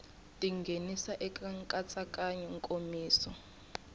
ti nghenisa eka nkatsakanyo nkomiso